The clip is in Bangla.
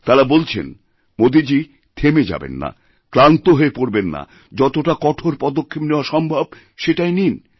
তাঁরা বলছেন মোদীজী থেমে যাবেন না ক্লান্ত হয়ে পড়বেন না যতটা কঠোরপদক্ষেপ নেওয়া সম্ভব সেটাই নিন